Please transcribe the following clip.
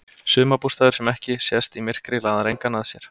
Sumarbústaður sem ekki sést í myrkri laðar engan að sér.